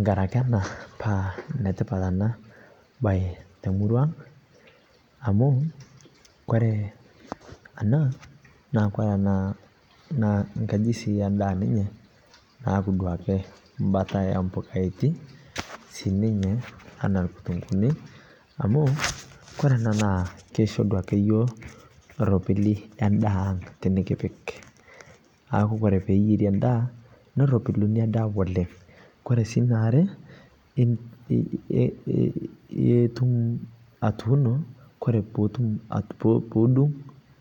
ngarakee akee anaa paa netipat anaa bai te murua aang amu kore anaa naa kore naa nkajii eee ndaa sii ninyee naaku duake mbataa ee mpukaa etii sii ninyee anaa lkutunguuni amu kore anaa naa keishoo yoo duake ropilii ee ndaaang tinikipik. Naaku kore piiyeerie ndaa noropiluu inia daa oleng kore sii naare itum atuuno ,koree puutum puudung